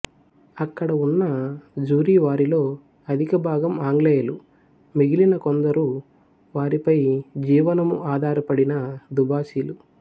అక్కడ ఉన్న జ్యూరీవారిలో అధికభాగం ఆంగ్లేయులు మిగిలిన కొందరు వారిపై జీవనము ఆధారపడిన దుబాసీలు